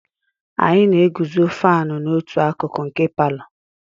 Anyị na-eguzo fánu n'otu akụkụ nke palọ